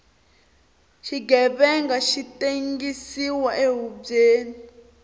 xighevenga xi tengsiwa ehubyeni